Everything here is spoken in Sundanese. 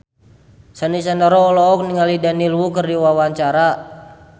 Sandy Sandoro olohok ningali Daniel Wu keur diwawancara